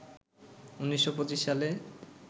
১৯২৫ সালে